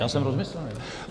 Já jsem rozmyšlený.